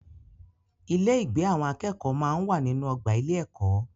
Ilé-ìgbé àwọn akẹ́kọ̀ọ́ máa ń wà nínú ọgbà ilé-ẹ̀kọ́.